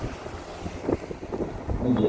ନିଜେ